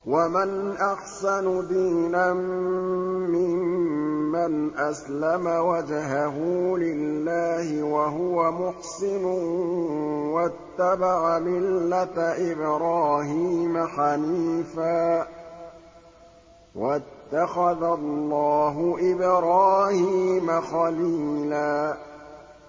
وَمَنْ أَحْسَنُ دِينًا مِّمَّنْ أَسْلَمَ وَجْهَهُ لِلَّهِ وَهُوَ مُحْسِنٌ وَاتَّبَعَ مِلَّةَ إِبْرَاهِيمَ حَنِيفًا ۗ وَاتَّخَذَ اللَّهُ إِبْرَاهِيمَ خَلِيلًا